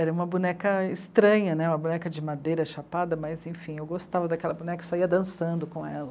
Era uma boneca estranha, né, uma boneca de madeira chapada, mas enfim, eu gostava daquela boneca e saía dançando com ela.